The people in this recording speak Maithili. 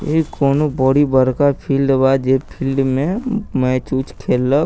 इ कउनो बड़ी बड़का फील्ड बा जे फील्ड में मैच उच खेललक।